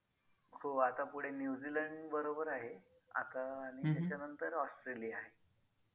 माझे जरा कोरडे केस आहे. मला फक्त ते जरा व्यवस्थित करायचे आहेत फाटे वगैरे फुटलेत ना त्याला परत तुज्या कडे काही आहेत का? एखाद product